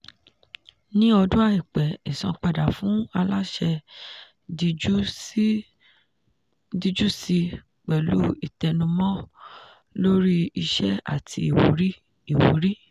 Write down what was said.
ní ọdún àìpẹ́ ìsanpadà fún aláṣẹ díjú síi pẹ̀lú ìtẹnumọ́ lórí iṣẹ́ àti ìwúrí. ìwúrí.